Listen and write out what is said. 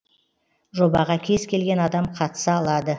жобаға кез келген адам қатыса алады